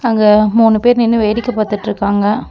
அங்க மூணு பேர் நின்னு வேடிக்க பாத்துட்ருக்காங்க.